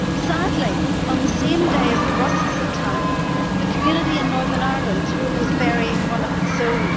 Sadly, on the same day as the Brussels attack, the community in Northern Ireland was burying one of its own.